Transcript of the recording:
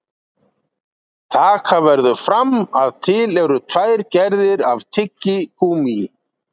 Taka verður fram að til eru tvær gerðir af tyggigúmmí.